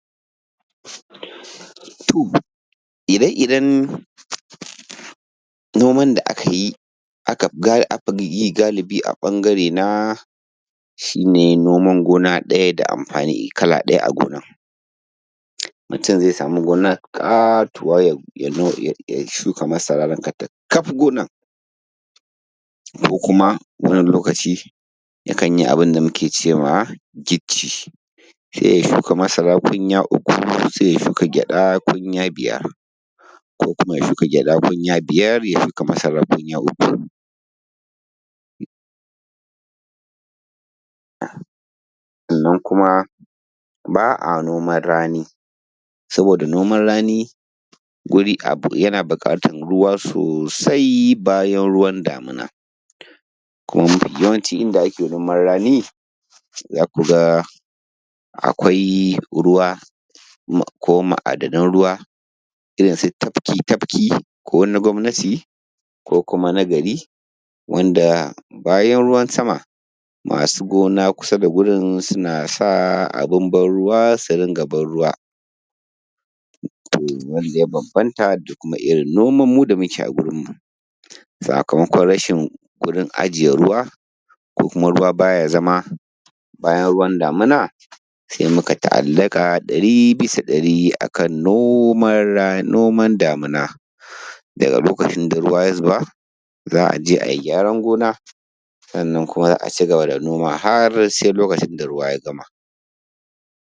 To, ire-iren noman da aka yi, aka fi yi galibi a ɓangarena shi ne noman gona ɗaya da amfani kala ɗaya a gonar. Mutum zai samu gona ƙatuwa ya shuka masara rankatakaf gonar. Ko kuma wani lokaci yakan yi abun da muke ce ma ‘gicci’. Sai ya shuka masara kunya uku, sai ya shuka gyaɗa kunya biyar, ko kuma ya shuka gyaɗa kunya biyar ya shuka masara kunya uku. Sannan kuma ba a noman rani saboda noman rani, saboda noman rani, yana buƙatar ruwa sosai bayan ruwan damina, kuma mafi yawancin inda ake noman rani za ku ga akwai ruwa, ko ma'adanan ruwa. Irin su tafki-tafki, ko na gwamnati, ko kuma na gari, wanda bayan ruwan sama, masu gona kusa da wurin, suna sa abun ban ruwa su rinƙa ban ruwa, wanda ya bambanta da irin noman da muke yi a wurinmu, sakamakon rashin wurin ajiye ruwa, ko kuma ruwa ba ya zama bayan ruwan damina, sai muka ta'allaƙa ɗari bisa ɗari a kan noman damina, Daga lokacin da ruwa ya zuba, za a je a yi gyaran gona, sannan kuma za a ci gaba da noma har sai lokacin da ruwa ya gama.